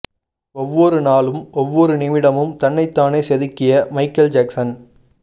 ஒவ்வொரு நாளும் ஒவ்வொரு நிமிடமும் தன்னைத் தானே செதுக்கிய மைக்கேல் ஜாக்சன்